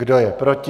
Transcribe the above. Kdo je proti?